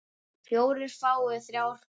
fjórir fái þrjá hver